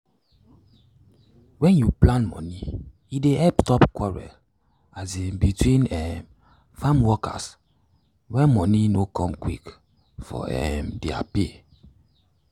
wen u plan moni e dey help stop quarrel um between um farm workers when money no come quick for um their pay.